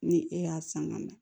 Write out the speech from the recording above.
Ni e y'a san ka na